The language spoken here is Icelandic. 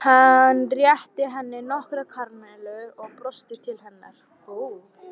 Hann rétti henni nokkrar karamellur og brosti til hennar.